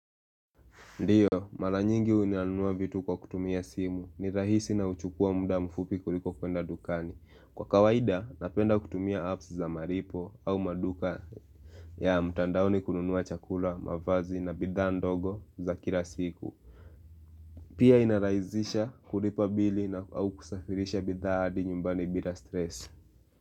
Ndiyo, mara nyingi huwa nanunua vitu kwa kutumia simu ni rahisi na huchukua muda mfupi kuliko kwenda dukani. Kwa kawaida, napenda kutumia apps za malipo au maduka ya mtandaoni kununua chakula, mavazi na bidhaa ndogo za kila siku. Pia inarahisisha kulipa bili na au kusafirisha bidhaa hadi nyumbani bila stress.